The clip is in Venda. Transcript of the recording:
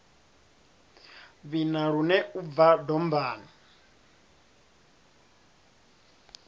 vhina lune u bva dombani